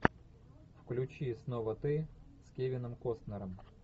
включи снова ты с кевином костнером